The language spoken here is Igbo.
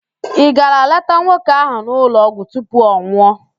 Ị gara leta nwoke ahụ n'ụlọọgwụ tupu ọ nwụọ?